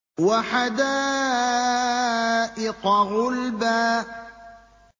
وَحَدَائِقَ غُلْبًا